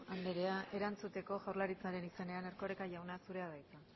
anderea erantzuteko jaurlaritzaren izenean erkoreka jauna zurea da hitza